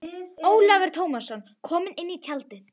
Ólafur Tómasson kom inn í tjaldið.